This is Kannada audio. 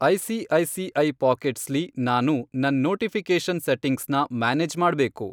ಐ.ಸಿ.ಐ.ಸಿ.ಐ. ಪಾಕೆಟ್ಸ್ ಲಿ ನಾನು ನನ್ ನೋಟಿಫಿ಼ಕೇಷನ್ ಸೆಟ್ಟಿಂಗ್ಸ್ನ ಮ್ಯಾನೇಜ್ ಮಾಡ್ಬೇಕು.